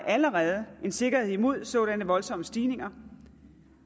allerede en sikkerhed imod sådanne voldsomme stigninger